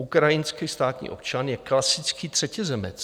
Ukrajinský státní občan je klasický třetizemec.